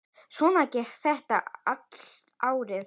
Svona gekk þetta allt árið.